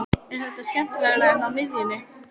Er það skemmtilegra en á miðjunni?